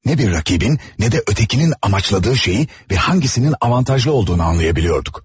Nə bir rəqibin, nə də ötəkinin amaçladığı şeyi və hangisinin avantajlı olduğunu anlayabiliyorduk.